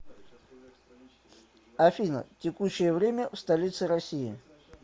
афина текущее время в столице россии